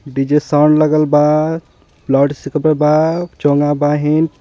DJ sound लगल बा loudspeaker पे बा चोंगा बाहिन.